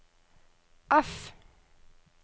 F